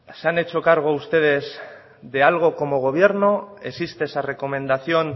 se han hecho cargo ustedes de algo como gobierno existe esa recomendación